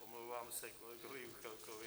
Omlouvám se kolegovi Juchelkovi.